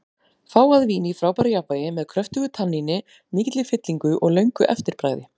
Fágað vín í frábæru jafnvægi, með kröftugu tanníni, mikilli fyllingu og löngu eftirbragði.